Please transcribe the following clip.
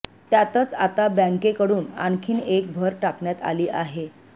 त्यातच आता बँकेकडून आणखी एक भर टाकण्यात आली आहे